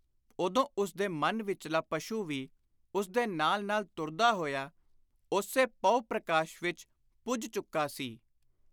ਉਦੋਂ ਉਸਦੇ ਮਨ ਵਿਚਲਾ ਪਸ਼ੂ ਵੀ ਉਸਦੇ ਨਾਲ ਨਾਲ ਤੁਰਦਾ ਹੋਇਆ ਉਸੇ ਪਹੁ-ਪ੍ਰਕਾਸ਼ ਵਿਚ ਪੁੱਜ ਚੁੱਕਾ ਸੀ।